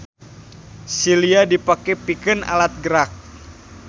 Silia dipake pikeun alat gerak.